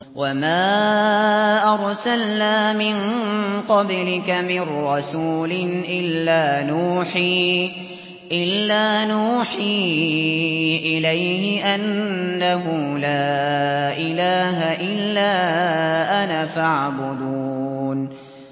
وَمَا أَرْسَلْنَا مِن قَبْلِكَ مِن رَّسُولٍ إِلَّا نُوحِي إِلَيْهِ أَنَّهُ لَا إِلَٰهَ إِلَّا أَنَا فَاعْبُدُونِ